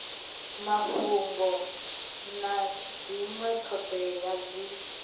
mafhungo na dzinwe thodea dzi